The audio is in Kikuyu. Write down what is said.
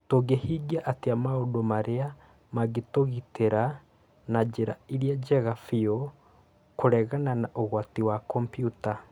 Tũngĩhingia atĩa maũndũ marĩa mangĩtũgitĩra na njĩra ĩrĩa njega biũ kũregana na ũgwati wa kompiuta?